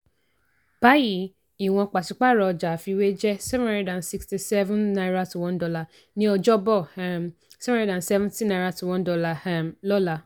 báyìí ìwọ̀n pàṣípààrọ̀ ọjà àfiwé jẹ́ seven hundred and sixty-seven naira to one naira ní ọjọ́bọ̀ um seven hundred and seventy naira to one dollar um lọ́la.